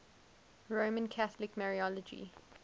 roman catholic mariology